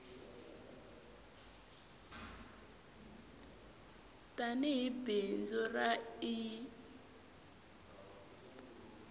tani hi bindzu ra ie